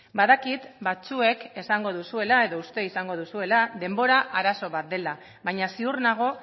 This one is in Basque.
badakit batzuek esango duzuela edo uste izango duzuela denbora arazo bat dela baina ziur nago